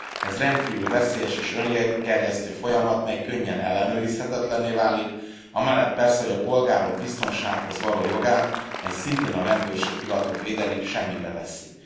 Ez rendkívül veszélyes és öngerjesztő folyamat, mely könnyen ellenőrizhetetlenné válik, amellett persze, hogy a polgárok biztonsághoz való jogát amelyet szintén a rendőrség hivatott védeni semmibe veszi.